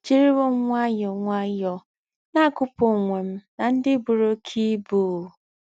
è jìrìwò m nwàyọ́ọ́ nwàyọ́ọ́ nà-àgúpù onwe m n’ndi bùrù óké íbú!